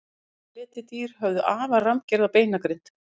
risaletidýr höfðu afar rammgerða beinagrind